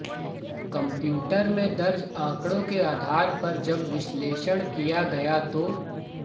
computer में दर्ज आंकड़ों के आधार पर जब विश्लेषण किया गया तो